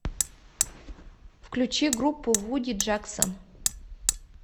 включи группу вуди джексон